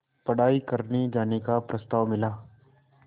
पढ़ाई करने जाने का प्रस्ताव मिला